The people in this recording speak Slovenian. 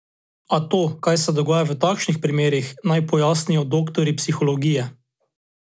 A to, kaj se dogaja v takšnih primerih, naj pojasnijo doktorji psihologije.